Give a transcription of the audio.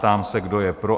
Ptám se, kdo je pro?